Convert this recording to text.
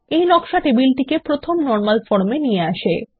এই নকশা টেবিলটিকে প্রথম নরমাল ফর্মে নিয়ে আসে